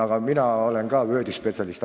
Aga mina olen ka Wordi spetsialist.